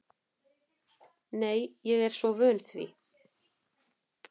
Nei, ég er svo vön því.